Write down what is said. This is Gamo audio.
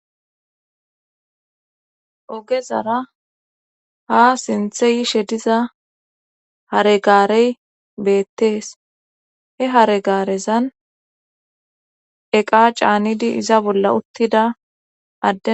Ogezara ha sinthe yishe diza haregaarey beettees he haregaarezan eqa caanidi iza bolla uttida adde.